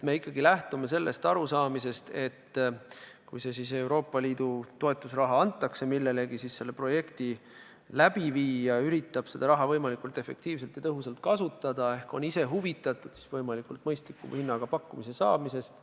Me lähtume ikkagi arusaamast, et kui Euroopa Liidu toetusraha millelegi antakse, siis projekti läbiviija üritab seda raha võimalikult tõhusalt kasutada – ta on ise huvitatud võimalikult mõistliku hinnaga pakkumise saamisest.